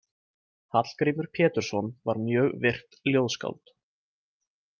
Hallgrímur Pétursson var mjög virkt ljóðskáld.